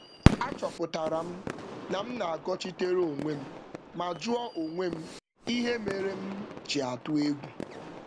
M hụrụ na nzaghachi m bụ nke ịgbachitere onwe m ma jụọ onwe m ụjọ ọ bụla kpatara ya.